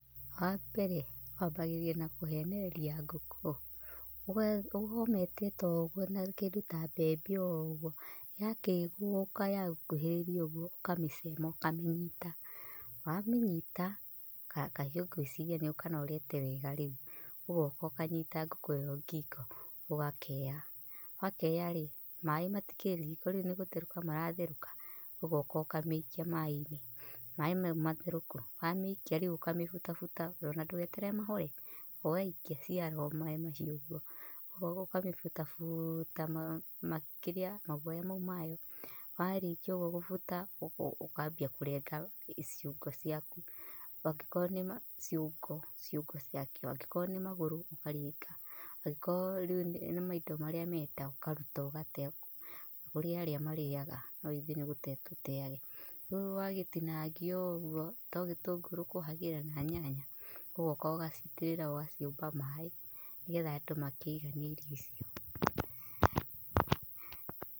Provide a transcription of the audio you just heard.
Wa mbere wambagĩrĩria na kũhenereria ngũkũ, ũga ũkamĩeteta ũguo na kĩndũ ta mbembe ũguo yakĩogoka yagũkuhĩrĩria ũguo ũkamĩcema ũkamĩnyita. Wa mĩnyita, kahiũ ngwĩciria nĩ ũkanorete wega, rĩũ ũgoka ũkanyita ngũkũ ĩyo ngingo ũgakea wakearĩ, maĩĩ matikĩrĩ riko rĩũ nĩ gũtherũka maratherũka ũgoka ũkamĩikia maĩ-inĩ maĩĩ mau matherũku. Wa mĩikia rĩũ ũkambia kũmĩbuta buta ona ndũgeterere mahore ũgaikia ciara o maĩĩ mahiũ ũguo ũgoka ũkamĩbuta buuta makĩria, maguoya mau mayo, warĩkia ũguo gũbuta ũgo ũkambia kũrenga ciũngo ciaku, angĩkorwo nĩma ciũngo ciũngo ciakĩo, angĩkorwo nĩ magũrũ rĩũ ũkaringa, angĩkorwo rĩũ nĩ nĩ maindo marĩa marĩ nda ukaruta ũgate, kũrĩ arĩa marĩaga no ithuĩ nĩ gũte tũteage. Rĩu wagĩtinangia ũguo to gĩtũngũrũ ũkũhagĩra na nyanya ũgoka ũgaciitĩrĩra ũgaciũmba maĩ nĩgetha andũ makĩiganie irio icio.